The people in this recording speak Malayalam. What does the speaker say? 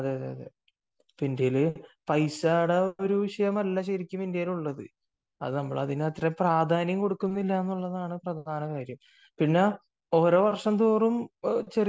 അതെ അതെ ഇന്ത്യയിൽ പൈസയുടെ ഒരു വിഷയമല്ല ശരിക്കും ഇന്ത്യയിൽ ഉള്ളത് അത് നമ്മൾ അതിനു അത്രയേ പ്രാധാന്യം കൊടുക്കുന്നുള്ളൂ എന്നതാണ് പ്രധാന കാര്യം . പിന്നെ ഓരോ വർഷം തോറും ചെറിയ